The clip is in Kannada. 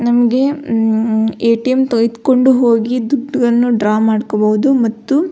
ನಮ್ಗೆ ಏ.ಟಿ.ಎಮ್ ತೆಗೆದ್ಕೊಂಡು ಹೋಗಿ ದುಡ್ಡನ್ನು ಡ್ರಾ ಮಾಡ್ಕೊಬಹುದು ಮತ್ತು --